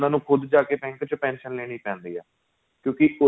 ਖ਼ੁਦ ਜਾਕੇ bank ਵਿੱਚ pension ਲੈਣੀ ਪੈਂਦੀ ਏ ਕਿਉਂਕਿ